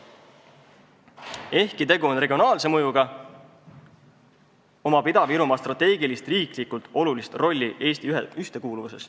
Ehkki tegu on regionaalse mõjuga, on Ida-Virumaal strateegiline, riiklikult oluline roll Eesti ühtekuuluvuses.